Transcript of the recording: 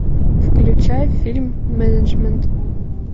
включай фильм менеджмент